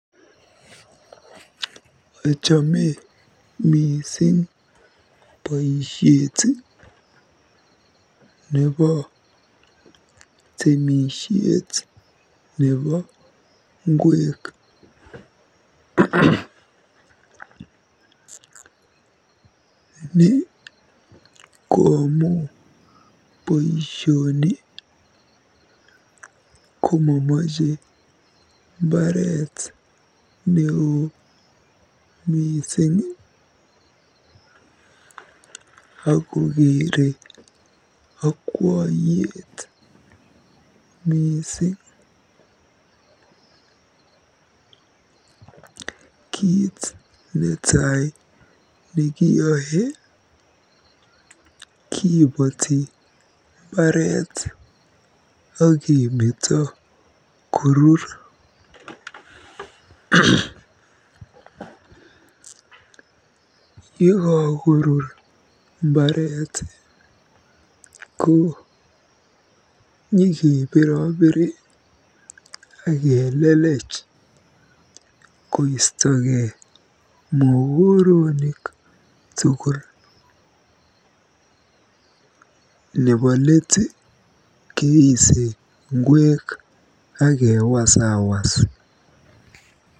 Achame mising boisiet nebo temisiet nebo ngwek. Ni ko amu boisioni komamache mbaret neo mising akokere akwoiyet mising. Kiit netai nekiyoe kibooti mbaret akemeto korur. Yekakorur mbaret ko nyikebirobiri aketui koistokei mokoronik tugul. Nebo leet keise ngwek akewasawas.